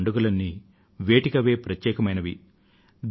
ఈ పండుగలన్నీ వేటికవే ప్రత్యేకమైనవి